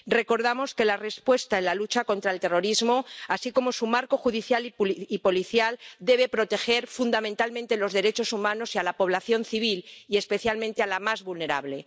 Recordamos que la respuesta en la lucha contra el terrorismo, así como su marco judicial y policial, debe proteger fundamentalmente los derechos humanos y a la población civil y, especialmente, a la más vulnerable.